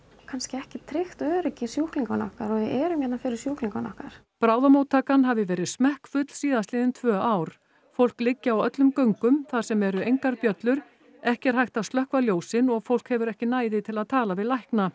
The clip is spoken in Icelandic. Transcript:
kannski ekki tryggt öryggi sjúklinganna okkar og við erum hérna fyrir sjúklingana okkar bráðamóttaka hafi verð smekkfull síðastliðin tvö ár fólk liggi á öllum göngum þar sem eru engar bjöllur ekki er hægt að slökkva ljósin og fólk hefur ekki næði til að tala við lækna